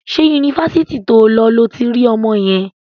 Ṣé Yunifásitì to lọ lo ti rí ọmọ yẹn?